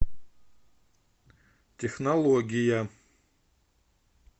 технология